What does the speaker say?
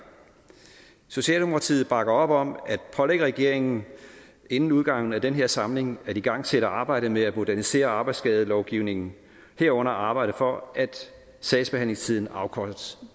socialdemokratiet bakker op om at pålægge regeringen inden udgangen af den her samling at igangsætte arbejdet med at modernisere arbejdsskadelovgivningen herunder arbejde for at sagsbehandlingstiden afkortes